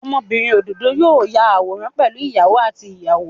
Ọmọbinrin ododo yoo ya awọn aworan pẹlu iyawo ati iyawo.